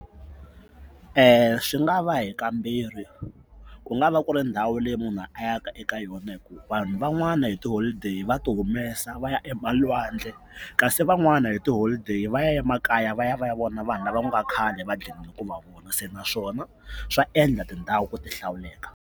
Swi nga va hi ka mbirhi ku nga va ku ri ndhawu leyi munhu a ya ka eka yona hi ku vanhu van'wana hi tiholideyi va ti humesa va ya emalwandle kasi van'wani hi tiholideyi va ya ya emakaya va ya va ya vona vanhu lava ku nga khale va gqine ku va vona se naswona swa endla tindhawu ku ti hlawuleka.